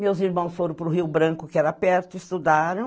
Meus irmãos foram para o Rio Branco, que era perto, estudaram.